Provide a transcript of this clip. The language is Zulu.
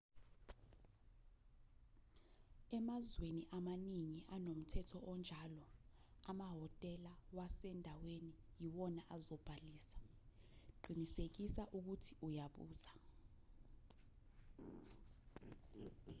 emazweni amaningi anomthetho onjalo amahhotela wasendaweni yiwona azobhalisa qinisekisa ukuthi uyabuza